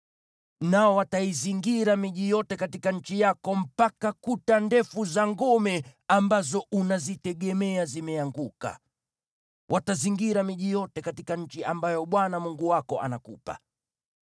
Nao wataizingira miji yote katika nchi yako mpaka kuta ndefu za ngome ambazo unazitegemea zimeanguka. Watazingira miji yote katika nchi ambayo Bwana Mungu wako anakupa.